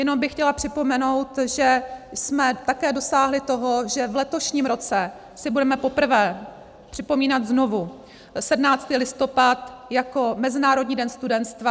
Jenom bych chtěla připomenout, že jsme také dosáhli toho, že v letošním roce si budeme poprvé připomínat znovu 17. listopad jako Mezinárodní den studenstva.